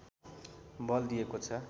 बल दिएको छ